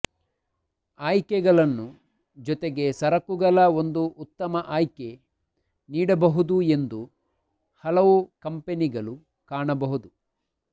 ಆಯ್ಕೆಗಳನ್ನು ಜೊತೆಗೆ ಸರಕುಗಳ ಒಂದು ಉತ್ತಮ ಆಯ್ಕೆ ನೀಡಬಹುದು ಎಂದು ಕೆಲವು ಕಂಪನಿಗಳು ಕಾಣಬಹುದು